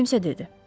Kimsə dedi.